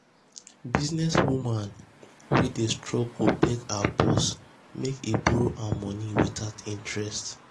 . business woman business woman wey dey struggle beg her boss make he borrow her money without interest.